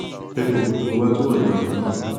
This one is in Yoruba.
jẹ kí n mọ bí mo bá túbọ lè ràn ọ lọwọ